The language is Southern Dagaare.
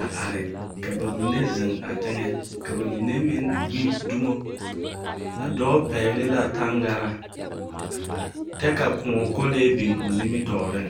a are ka ba mine zeŋ a teŋɛ ka ba mine meŋ gbi dumo. A dɔɔ pɛgele la taŋgaraa, kyɛ ka kõɔ kolee biŋ o nimitɔɔreŋ.